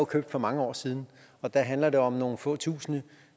købt for mange år siden og der handler det om nogle få tusinde